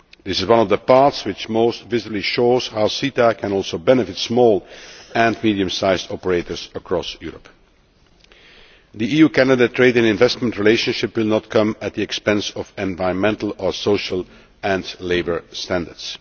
This is one of the parts which most visibly show how CETA can also benefit small and medium sized operators across Europe. The EU Canada trade and investment relationship will not come at the expense of environmental or social and labour standards.